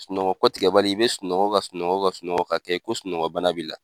Sunɔgɔ kɔtigɛ bali i bɛ sunɔgɔ ka sunɔgɔ ka sunɔgɔ ka kɛ i ko sunɔgɔ bana b'i la.